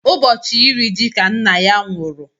Ụbọchị iri ji ka nna ya nwụrụ.